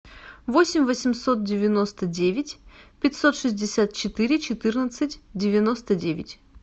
восемь восемьсот девяносто девять пятьсот шестьдесят четыре четырнадцать девяносто девять